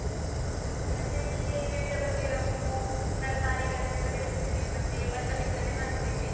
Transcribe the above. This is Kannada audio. ಗದ್ದೆಯಲ್ಲೀ ವಿವಿಧ ಬಗೆಯ ಹೂವು, ತರಕಾರಿಗಳನೆಲ್ಲ ಬೆಳೆಸ್ತೇವೆ, ಮತ್ತೆ ಭತ್ತ ಬಿತ್ತನೆ ಮಾಡ್ತೇವೆ.